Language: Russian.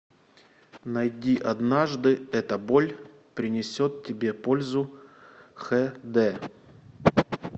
найди однажды эта боль принесет тебе пользу хд